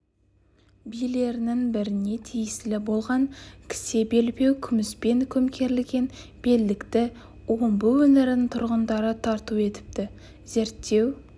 билерінің біріне тиесілі болған кісе белбеу күміспен көмкерілген белдікті омбы өңірінің тұрғындары тарту етіпті зерттеу